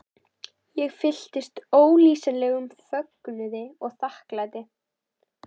Ég fylltist ólýsanlegum fögnuði og þakklæti.